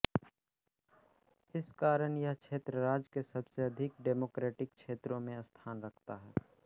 इस कारण यह क्षेत्र राज्य के सबसे अधिक डेमोक्रेटिक क्षेत्रों में स्थान रखता है